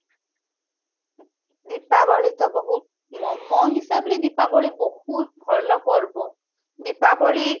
ଦୀପାବଳି ତ ବହୁତ ମୋ ମୋ ହିସାବ ରେ ଦୀପାବଳି ବହୁତ ଭଲ ପର୍ବ ଦୀପାବଳି